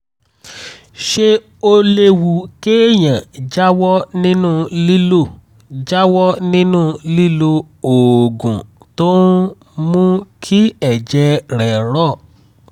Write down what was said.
ṣé ó léwu kéèyàn jáwọ́ nínú lílo jáwọ́ nínú lílo oògùn tó ń mú kí ẹ̀jẹ̀ rẹ̀ rọ̀?